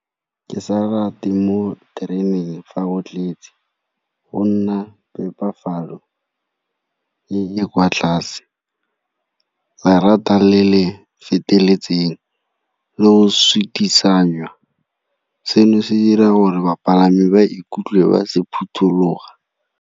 Ke sa rate mo tereneng fa go tletse go nna phepafalo e e kwa tlase, lerata le le feteletseng le o sutisanwa. Seno se dira gore bapalami ba ikutlwe ba se phuthuloga.